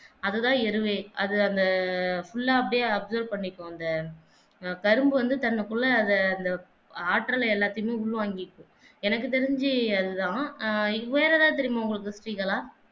அதுதான் எருவை அது அந்த full ஆ அப்படியே observe பன்னிக்கும் அந்த கரும்பு வந்து தனக்குள்ள அத அந்த ஆற்றல் எல்லாத்தையும் உள் வாங்கிக்கும் எனக்கு தெரிஞ்சு அது தான் ஆஹ் இது வேற எதாவது தெரியுமா ஸ்ரீ கலா